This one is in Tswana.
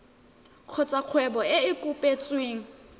kgotsa kgwebo e e kopetsweng